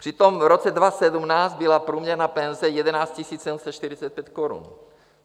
Přitom v roce 2017 byla průměrná penze 11 745 korun.